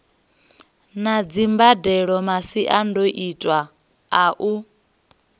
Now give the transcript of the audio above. na dzimbadelo masiandoitwa a u